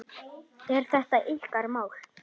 Er þetta ykkar mál?